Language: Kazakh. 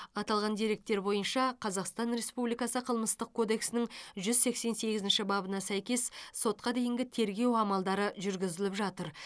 аталған деректер бойынша қазақстан республикасы қылмыстық кодексінің жүз сексен сегзінші бабына сәйкес сотқа дейінгі тергеу амалдары жүргізіліп жатыр